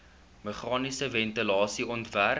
meganiese ventilasie ontwerp